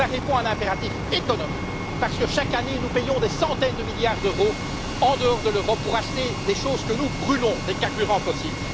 Cela répond à l'impératif économique, parce que chaque année, nous payons des centaines de milliards d'euros en dehors de l'Europe pour acheter des choses que nous brûlons, des carburants fossiles.